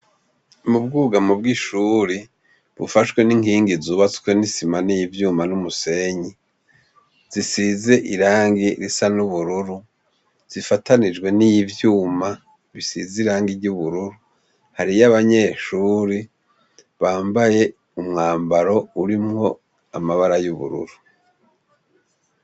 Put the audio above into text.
Mu bwugamo bw'ishuri, bufashwe n'inkingi zubatswe n'isima, n'ivyuma n'umusenyi. Zishize irangi risa n'ubururu, zifatanijwe n'ivyuma bisize irangi ry'ubururu. Hariyo abanyeshure bambaye umwambaro urimwo amabara y'ubururu.